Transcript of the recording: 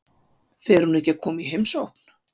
Fer hún ekki að koma í heimsókn?